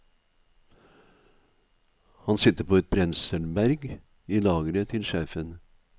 Han sitter på et brenselberg i lageret til sjefen.